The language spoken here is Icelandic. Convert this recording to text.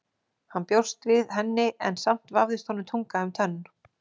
Hann bjóst við henni en samt vafðist honum tunga um tönn.